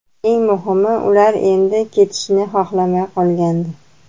Eng muhimi ular endi ketishni xohlamay qolgandi.